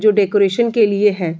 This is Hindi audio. जो डेकोरेशन के लिए है।